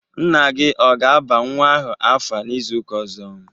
Nna gị ọ ga aba nwa ahụ afa n'izuka ọzọ?